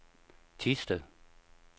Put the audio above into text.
Thisted